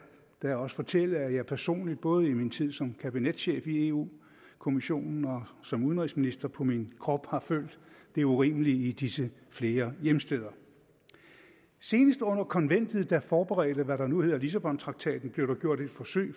da også fortælle at jeg personligt både i min tid som kabinetschef i europa kommissionen og som udenrigsminister på min krop har følt det urimelige i disse flere hjemsteder senest under konventet der forberedte hvad der nu hedder lissabontraktaten blev der gjort et forsøg